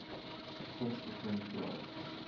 vigs begin praat